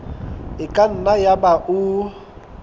e ka nna yaba o